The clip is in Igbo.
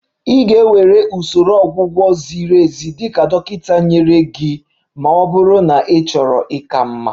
Ị ga-ewere usoro ọgwụgwọ ziri ezi dị ka dọkịta nyere gị ma ọ bụrụ na ịchọrọ ịka mma